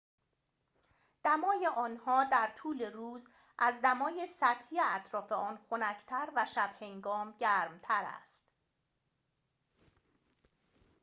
دمای آنها در طول روز از دمای سطحی اطراف آن خنک‌تر و شب‌هنگام گرم‌تر است